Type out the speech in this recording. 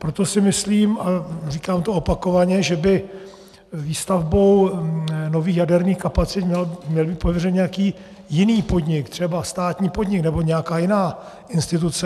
Proto si myslím, a říkám to opakovaně, že by výstavbou nových jaderných kapacit měl být pověřen nějaký jiný podnik, třeba státní podnik nebo nějaká jiná instituce.